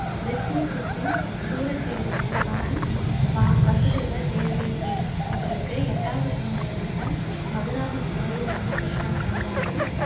வ்ரிச்சினி குலத்தின் சூரசேரனின் மகன் வவசுதேவர் தேவகி அவங்களுக்கு எட்டாவது குழந்தையாக மதுராவின் சிறையில் வந்து கிருஷ்ணர் பிறந்தாரு